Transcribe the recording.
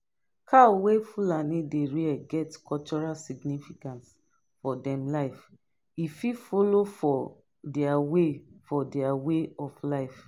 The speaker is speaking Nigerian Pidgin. cow wey fulani dey rear get cultural significance for them life e fit follow for their way for their way of life